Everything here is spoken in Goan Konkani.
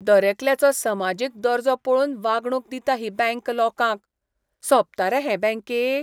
दरेकल्याचो समाजीक दर्जो पळोवन वागणूक दिता ही बँक लोकांक. सोबता रे हें हे बँकेक?